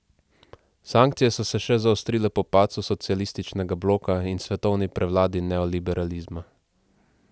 Sankcije so se še zaostrile po padcu socialističnega bloka in svetovni prevladi neoliberalizma.